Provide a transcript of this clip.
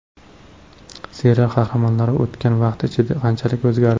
Serial qahramonlari o‘tgan vaqt ichida qanchalik o‘zgardi?